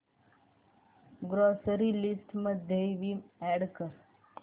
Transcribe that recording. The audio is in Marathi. ग्रॉसरी लिस्ट मध्ये विम अॅड कर